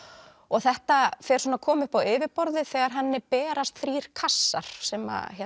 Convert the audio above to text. þetta fer svona að koma upp á yfirborðið þegar henni berast þrír kassar sem